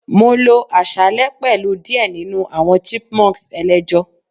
mo lo aṣalẹ pẹlu diẹ ninu awọn Chipmunks elejo